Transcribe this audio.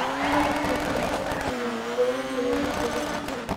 Waraabku wuxuu dhaawici karaa deegaanka dabiiciga ah.